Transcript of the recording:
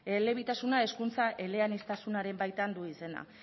elebitasuna hizkuntza eleaniztasunaren baitan du izena